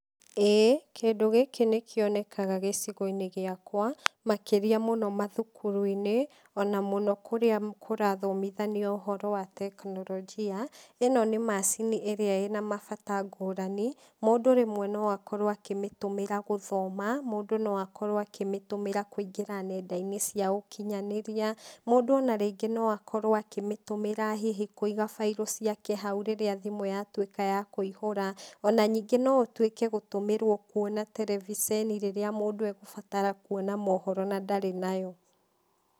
ĩĩ, kĩndũ gĩkĩ nĩ kĩonekaga gĩcigo -inĩ gĩakwa, makĩria mũno mathukuru - inĩ, ona mũno kũrĩa kũrathomithanio ũhoro wa tekinoronjia, ino nĩ macini ĩrĩa ina mabata ngũrani, mũndũ rĩmwe no akorwo a kĩmĩtũmĩra gũthoma, mũndũ no akorwo a kĩmĩtũmĩra kũingĩra nenda - inĩ cia ũkinyanĩria, mũndũ ona rĩngĩ no akorwo akĩmĩtumĩra hihi kũiga bairo ciake hau rĩrĩa thimũ yatwĩka ya kũihũra, ona nyingĩ no ũtwĩke gũtumĩrwo kwona televiseni rĩrĩa mũndũ e gũbatara kuona mohoro na ndarĩ nayo.